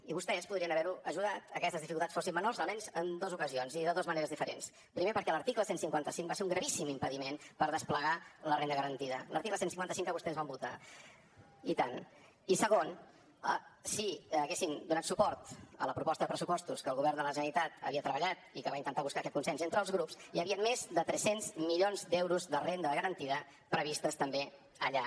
i vostès podrien haver ajudat a que aquestes dificultats fossin menors almenys en dos ocasions i de dos maneres diferents primer perquè l’article cent i cinquanta cinc va ser un gravíssim impediment per desplegar la renda garantida l’article cent i cinquanta cinc que vostès van votar donat suport a la proposta de pressupostos que el govern de la generalitat havia treballat i que va intentar buscar aquest consens entre els grups hi havien més de tres cents milions d’euros de renda garantida previstos també allà